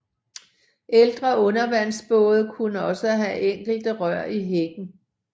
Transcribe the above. Ældre undervandsbåde kunne også have enkelte rør i hækken